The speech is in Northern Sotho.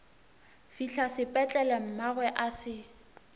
fihla sepetlele mmagwe a se